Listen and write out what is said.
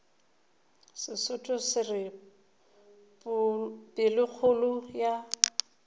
sesotho se re pelokgolo ya